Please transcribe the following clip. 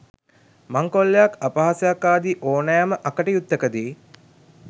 මංකොල්ලයක් අපහාසයක් ආදී ඕනෑම අකටයුත්තක දී